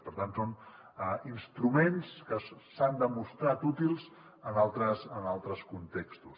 per tant són instruments que s’han demostrat útils en altres contextos